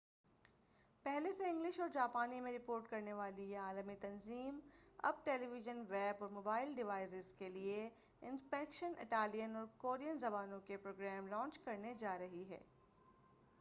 پہلے سے انگلش اور جاپانی میں رپورٹ کرنے والی یہ عالمی تنظیم اب ٹیلی وژن ویب اور موبائل ڈیوائسز کے لئے اسپینیش اٹالیان اور کورین زبانوں کے پروگرام لانچ کرنے جا رہی ہے